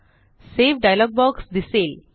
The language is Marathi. सावे डायलॉग बॉक्स दिसेल